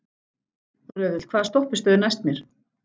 Röðull, hvaða stoppistöð er næst mér?